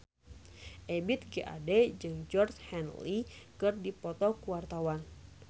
Ebith G. Ade jeung Georgie Henley keur dipoto ku wartawan